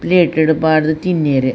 Plate ಡು ಪಾಡ್ದ್ ತಿನ್ಯೆರೆ.